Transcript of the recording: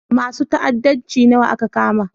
Masun ta'addanci nawa aka kama?